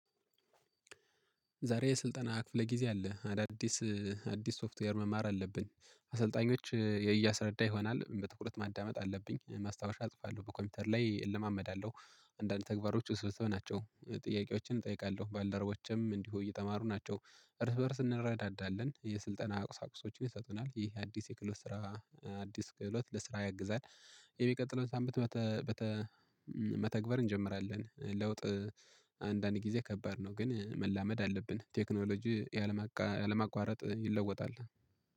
ዛሬ የስልጠና ክፍለ ጊዜ አለ አዳዲስ አዲስ ሶፍትዌር መማር አለብን አሰልጣኞች እያሰረዳ ይሆናል በትኩረት ማዳመጥ አለብኝ ማስታወሻ አጽፋለሁ በኮምፒውተር ላይ እለማመዳለሁ። አንዳንድ ተግባሮች ውስብስብ ናቸው ጥያቄዎችን እጠይቃለሁ ባልደረቦችም እንዲሁ እየተማሩ ናቸው። እርስ በእርስ እንረዳዳለን የስልጠና ቁሳቁሶችን ይሰጡናል ይህ አዲስ የክላስ ስራ። አዲስ ክህሎት ለስራ ያግዛል። የሚቀጥለው ሳምንት መተግበር እንጀምራለን። ለውጥ። አንዳንድ ጊዜ ከባድ ነው ግን መላመድ አለብን። ቴክኖሎጂ ያለማቋረጥ ይለወጣል።